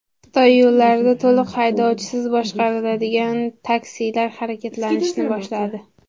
Xitoy yo‘llarida to‘liq haydovchisiz boshqariladigan taksilar harakatlanishni boshladi .